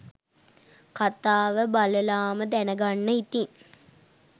කතාව බලලාම දැනගන්න ඉතින්.